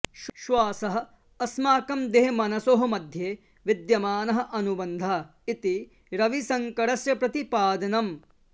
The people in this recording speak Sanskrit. श्वासः अस्माकं देहमनसोः मध्ये विद्यमानः अनुबन्धः इति रविशङ्करस्य प्रतिपादनम्